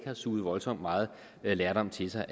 har suget voldsomt meget lærdom til sig